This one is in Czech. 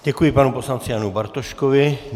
Děkuji panu poslanci Janu Bartoškovi.